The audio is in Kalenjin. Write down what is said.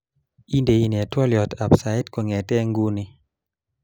Indenee twoliotab sait agenge kongetee nguni